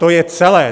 To je celé.